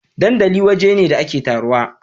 dandali waje ne da ake taruwa